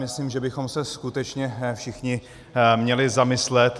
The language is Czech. Myslím, že bychom se skutečně všichni měli zamyslet.